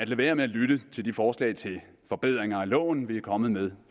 være med at lytte til de forslag til forbedringer af loven vi er kommet med